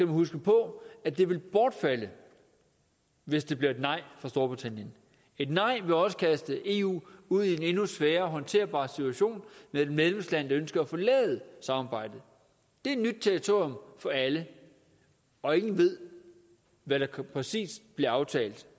huske på at de vil bortfalde hvis det bliver et nej i storbritannien et nej vil også kaste eu ud i en endnu sværere håndterbar situation med et medlemsland der ønsker at forlade samarbejdet det er nyt territorium for alle og ingen ved hvad der præcist bliver aftalt